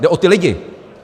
Jde o ty lidi.